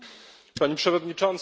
Pani Przewodnicząca!